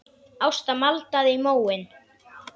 Ásta maldaði í móinn.